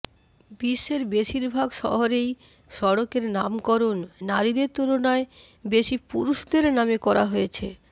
বিশ্বের বেশিরভাগ শহরেই সড়কের নামকরণ নারীদের তুলনায় বেশি পুরুষদের নামে করা হয়েছে